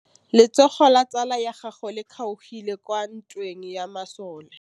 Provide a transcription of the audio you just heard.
Letsôgô la tsala ya gagwe le kgaogile kwa ntweng ya masole.